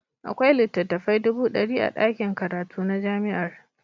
Akwai littattafai dubu ɗari a ɗakin karatu na jami'ar.